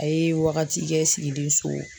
A ye wagati kɛ sigilen so